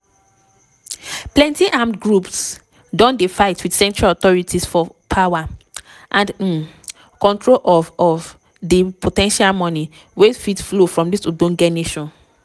plenti armed groups don dey fight wit central authorities for power and um control of of di po ten tial money wey fit flow from dis ogbonge nation.